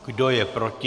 Kdo je proti?